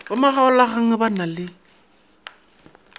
ba makgaolakgang ba na le